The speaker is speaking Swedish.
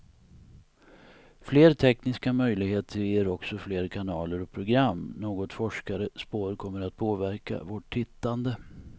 Fler tekniska möjligheter ger också fler kanaler och program, något forskare spår kommer att påverka vårt tittande.